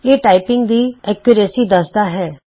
ਇਹ ਟਾਈਪਿੰਗ ਦੀ ਸ਼ੁੱਧਤਾ ਦੱਸਦਾ ਹੈ